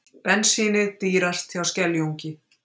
Bensínið dýrast hjá Skeljungi